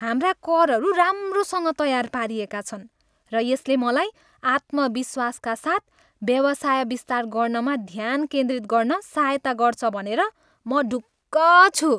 हाम्रा करहरू राम्रोसँग तयार पारिएका छन् र यसले मलाई आत्मविश्वासका साथ व्यवसाय विस्तार गर्नमा ध्यान केन्द्रित गर्न सहायता गर्छ भनेर म ढुक्क छु।